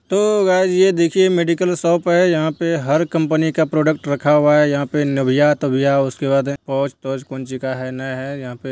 तो गाइज ये देखिये मेडिकल शॉप है| यहाँ पे हर कंपनी का प्रोडक्ट रखा हुआ है। यहाँ पे निभिया-तभिया उसके बाद है होज-तोज कुञ्चिका है यहाँ पे|